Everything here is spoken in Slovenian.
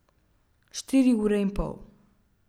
Štiri ure in pol.